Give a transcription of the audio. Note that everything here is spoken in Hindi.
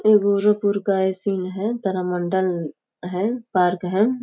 ये गोरखपुर का ये सीन है तारामंडल है पार्क हैं।